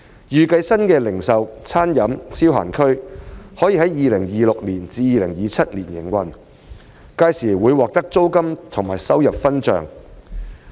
預計新的零售/餐飲/消閒區可在 2026-2027 年度投入營運，屆時會獲得租金和收入分帳。